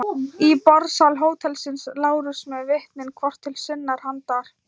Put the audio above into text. Í borðsal hótelsins: Lárus með vitnin hvort til sinnar handar.